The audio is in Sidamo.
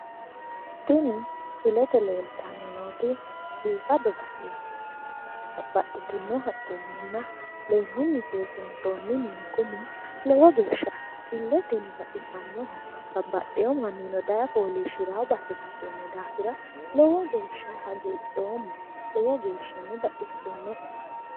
tini misilete leeltanni nooti biifado baseeti babbaxitino haqqenninna leemmunni seesiinsoonni mini kuni lowo geeshsha illeteno baxisannoho babbaxewo mannino daye fooliishshiranno base ikkitinohura lowo geeshsha hagiidhoomma lowo geeshshano baxissinoe.